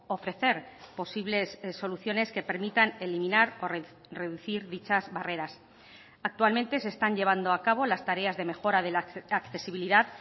ofrecer posibles soluciones que permitan eliminar o reducir dichas barreras actualmente se están llevando a cabo las tareas de mejora de la accesibilidad